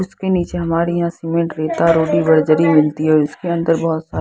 उसके नीचे हमारी यहां सीमेंट रेता रोडी बर्जरी मिलती है और उसके अंदर बहुत सा --